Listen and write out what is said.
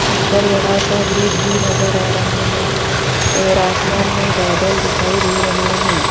ऊपर बड़ा सा ब्रिज भी नजर आ रहा है और आसमान में बादल दिखाई दे रहे हैं।